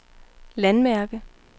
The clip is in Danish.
landmærke